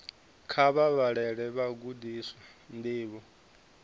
kha vha vhalele vhagudiswa ndivho